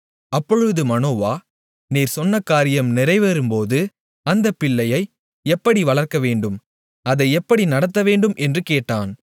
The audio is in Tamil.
அப்பொழுது மனோவா நீர் சொன்ன காரியம் நிறைவேறும்போது அந்தப் பிள்ளையை எப்படி வளர்க்கவேண்டும் அதை எப்படி நடத்தவேண்டும் என்று கேட்டான்